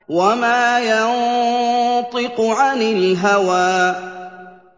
وَمَا يَنطِقُ عَنِ الْهَوَىٰ